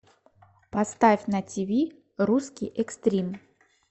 поставь на тв русский экстрим